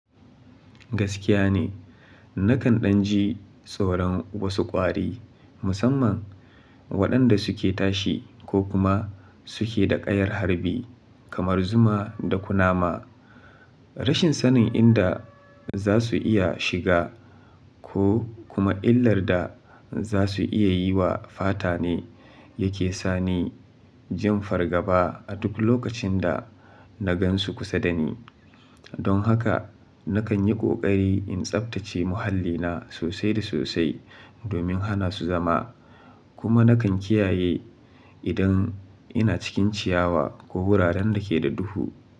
Gaskiya ne, nakan ɗan ji tsoron wasu ƙwari, musamman waɗanda suke tashi ko kuma suke da ƙayar harbi kamar zuma da kunama. Rashin sanin inda za su iya shiga ko kuma illar da za su iya yi wa fata ne yake sa ni jin fargaba a duk lokacin da na gan su kusa da ni. Don haka nakan yi ƙoƙari in tsabtace muhallina sosai da sosai domin hana su zama. Kuma nakan kiyaye idan ina cikin ciyawa ko wuraren da ke da duhu.